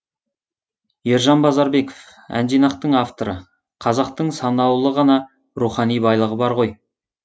ержан базарбеков әнжинақтың авторы қазақтың санаулы ғана рухани байлығы бар ғой